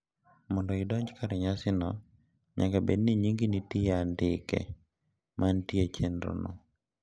Mondo idonj kar nyasino nyaka bed ni nyingi nitie e andike mantie e chenrono.